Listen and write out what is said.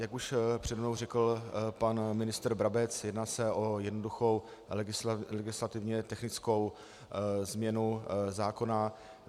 Jak už přede mnou řekl pan ministr Brabec, jedná se o jednoduchou legislativně technickou změnu zákona.